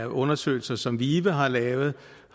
undersøgelser som vive har lavet